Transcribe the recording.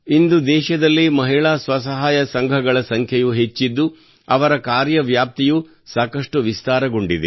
ಇಂದು ದೇಶದಲ್ಲಿ ಮಹಿಳಾ ಸ್ವಸಹಾಯ ಸಂಘಗಳ ಸಂಖ್ಯೆಯೂ ಹೆಚ್ಚಿದ್ದು ಅವರ ಕಾರ್ಯವ್ಯಾಪ್ತಿಯೂ ಸಾಕಷ್ಟು ವಿಸ್ತಾರಗೊಂಡಿದೆ